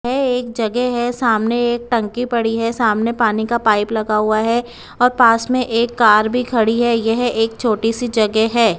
ये एक जगह है सामने एक टंकी पड़ी है सामने पानी का पाइप लगा हुआ है और पास में एक कार भी खड़ी है यह एक छोटी सी जगह है।